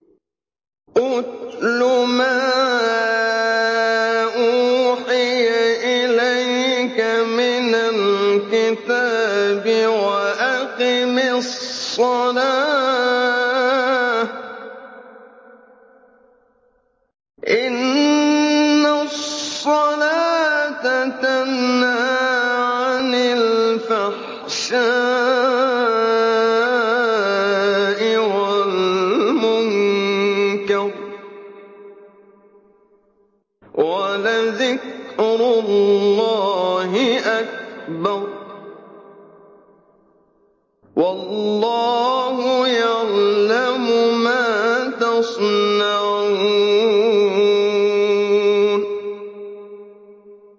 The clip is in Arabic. اتْلُ مَا أُوحِيَ إِلَيْكَ مِنَ الْكِتَابِ وَأَقِمِ الصَّلَاةَ ۖ إِنَّ الصَّلَاةَ تَنْهَىٰ عَنِ الْفَحْشَاءِ وَالْمُنكَرِ ۗ وَلَذِكْرُ اللَّهِ أَكْبَرُ ۗ وَاللَّهُ يَعْلَمُ مَا تَصْنَعُونَ